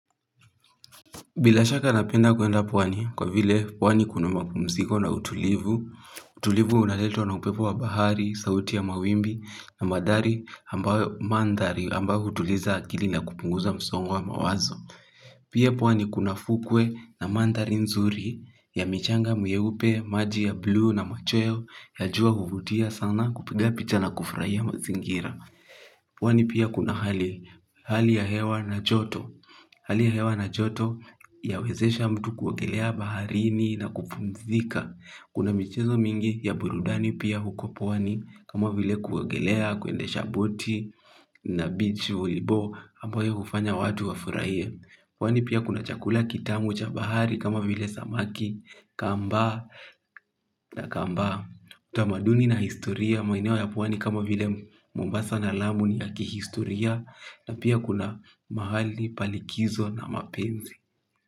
Bila shaka napenda kuenda pwani kwa vile pwani kuna mapumsiko na utulivu, utulivu unaletwa na upepo wa bahari, sauti ya mawimbi na mathari ambayo mandhari ambayo hutuliza akili na kupunguza msongo wa mawazo. Pia pwani kuna fukwe na mandhari nzuri ya michanga miyeupe, maji ya blu na machweyo ya jua huvutia sana kupiga picha na kufrahia mazingira. Pwani pia kuna hali ya hewa na joto. Hali ya hewa na joto yawezesha mtu kuogelea baharini na kupumzika. Kuna michezo mingi ya burudani pia huko pwani. Kama vile kuogelea, kwendesha boti na bichi ulibo ambayo kufanya watu wafuraie. Pwani pia kuna chakula kitamu cha bahari kama vile samaki. Kambaa na kambaa utamaduni na historia maeneo ya pwani kama vile mombasa na lamu ni ya kihistoria na pia kuna mahali pa likizo na mapenzi.